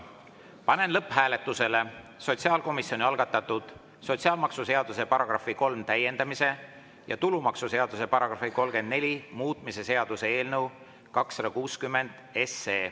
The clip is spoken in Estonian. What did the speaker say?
Panen lõpphääletusele sotsiaalkomisjoni algatatud sotsiaalmaksuseaduse § 3 täiendamise ja tulumaksuseaduse § 34 muutmise seaduse eelnõu 260.